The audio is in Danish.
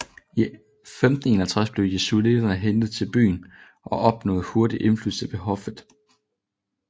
I 1551 blev jesuitterne hentet til byen og opnåede hurtigt indflydelse ved hoffet